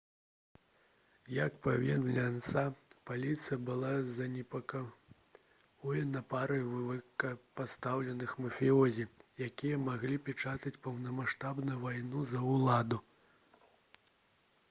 як паведамляе ansa «паліцыя была занепакоена парай высокапастаўленых мафіёзі якія маглі пачаць поўнамаштабную вайну за ўладу»